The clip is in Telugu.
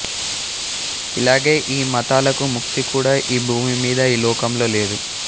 ఇలాగే ఈ మతాలకు ముక్తి కూడా ఈ భూమి మీద ఈ లోకంలో లేదు